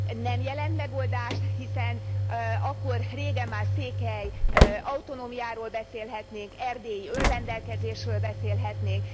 Nem jelent megoldást, hiszen akkor régen már székely autonómiáról beszélhetnénk, erdélyi önrendelkezésről beszélhetnénk.